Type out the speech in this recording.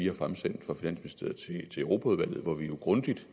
har fremsendt til europaudvalget hvor vi jo grundigt